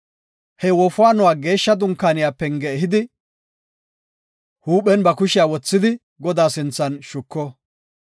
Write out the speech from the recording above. He wofaanuwa Geeshsha Dunkaaniya penge ehidi, huuphen ba kushiya wothidi Godaa sinthan shuko.